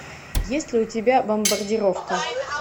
есть ли у тебя бомбардировка